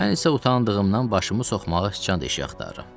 Mən isə utandığımdan başımı soxmağa deşik axtarıram.